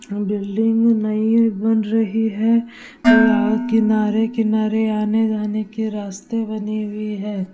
Building ये नई बन रही है और किनारे-किनारे आने-जाने के रास्ते बनी हुई है।